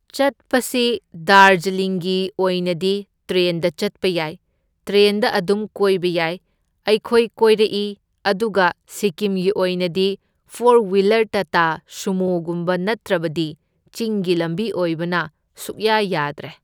ꯆꯠꯄꯁꯤ ꯗꯥꯔꯖꯂꯤꯡꯒꯤ ꯑꯣꯏꯅꯗꯤ ꯇ꯭ꯔꯦꯟꯗ ꯆꯠꯄ ꯌꯥꯏ, ꯇ꯭ꯔꯦꯟꯗ ꯑꯗꯨꯝ ꯀꯣꯏꯕ ꯌꯥꯏ, ꯑꯩꯈꯣꯏ ꯀꯣꯏꯔꯛꯏ ꯑꯗꯨꯒ ꯁꯤꯀꯤꯝꯒꯤ ꯑꯣꯏꯅꯗꯤ ꯐꯣꯔ ꯋꯤꯂꯔ ꯇꯥꯇꯥ ꯁꯨꯃꯣꯒꯨꯝꯕ ꯅꯠꯇ꯭ꯔꯕꯗꯤ ꯆꯤꯡꯒꯤ ꯂꯝꯕꯤ ꯑꯣꯢꯕꯅ ꯁꯨꯛꯌꯥ ꯌꯥꯗ꯭ꯔꯦ꯫